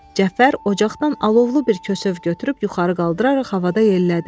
Cəfər ocaqdan alovlu bir kəsöv götürüb yuxarı qaldıraraq havada yellədi.